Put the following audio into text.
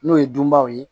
N'o ye dunbaaw ye